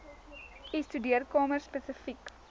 u studeerkamer spesifiek